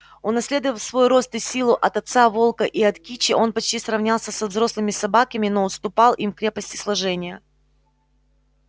унаследовав свой рост и силу от отца волка и от кичи он почти сравнялся со взрослыми собаками но уступал им в крепости сложения